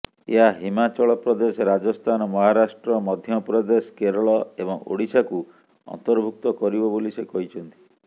ଏହା ହିମାଚଳ ପ୍ରଦେଶ ରାଜସ୍ଥାନ ମହାରାଷ୍ଟ୍ର ମଧ୍ୟପ୍ରଦେଶ କେରଳ ଏବଂ ଓଡିଶାକୁ ଅନ୍ତର୍ଭୁକ୍ତ କରିବ ବୋଲି ସେ କହିଛନ୍ତି